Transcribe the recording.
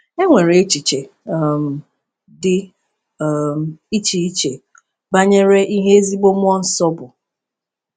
E nwere echiche um dị um iche iche banyere ihe ezigbo mmụọ nsọ bụ.